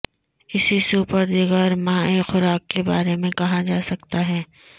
اسی سوپ اور دیگر مائع خوراک کے بارے میں کہا جا سکتا ہے